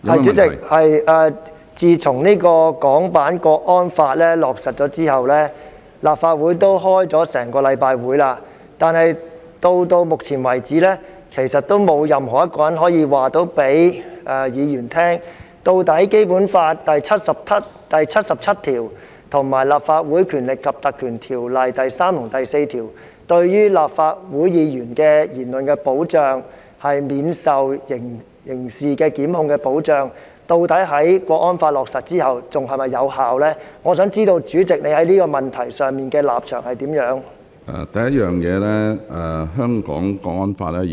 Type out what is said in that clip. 主席，自從《港區國安法》落實後，立法會已開了一星期的會議，但到目前為止，其實仍沒有一個人可以告訴議員，究竟《基本法》第七十七條及《立法會條例》第3及4條對於立法會議員的言論可免受刑事檢控的保障，在《港區國安法》落實後是否仍然有效，我想知道主席在這個問題上的立場為何？